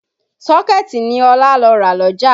Sọkẹ̀tì ni Ọlá lọ rà lọ́jà